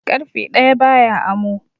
Ƙarfe ɗaya ba ya amo.